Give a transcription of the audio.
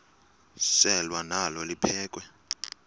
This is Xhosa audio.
selwa nalo liphekhwe